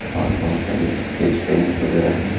और बहोत सारे स्केच पेन्स वैगेरा हैं।